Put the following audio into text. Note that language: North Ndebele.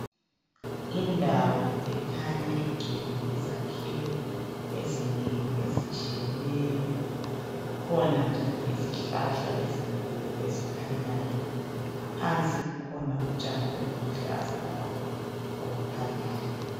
Indawo ekhanya igcwele izakhiwo ezinengi, ezitshiyeneyo kukhona njalo izihlahla ezinkulu ezikhanyayo. Phansi kukhona utshani obuluhlaza labo obukhanyayo.